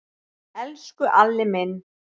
Elsku Alli minn.